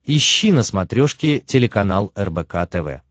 ищи на смотрешке телеканал рбк тв